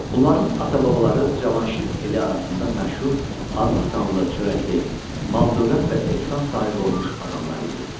Bunların ata-babaları Cavanşir eli arasında məşhur adlı-sanlı, çörəkli, mal-dövlət və ehsan sahibi olmuş adamlar idi.